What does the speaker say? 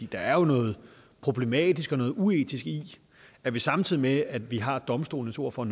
der er jo noget problematisk og noget uetisk i at vi samtidig med at vi har domstolenes ord for